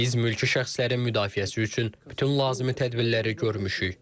Biz mülki şəxslərin müdafiəsi üçün bütün lazım tədbirləri görmüşük.